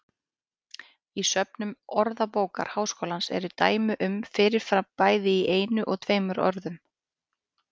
Í söfnum Orðabókar Háskólans eru dæmi um fyrir fram bæði í einu og tveimur orðum.